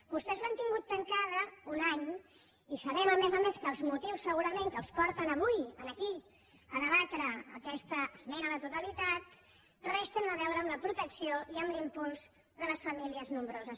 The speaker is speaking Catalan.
vostès l’han tingut tancada un any i sabem a més a més que els motius segurament que els porten avui aquí a debatre aquesta esmena a la totalitat res tenen a veure amb la protecció i amb l’impuls de les famílies nombroses